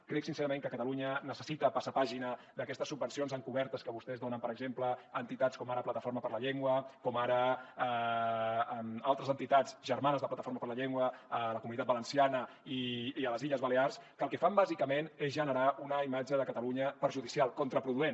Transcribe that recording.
crec sincerament que catalunya necessita passar pàgina d’aquestes subvencions encobertes que vostès donen per exemple a entitats com ara plataforma per la llengua com ara altres entitats germanes de plataforma per la llengua a la comunitat valenciana i a les illes balears que el que fan bàsicament és generar una imatge de catalunya perjudicial contraproduent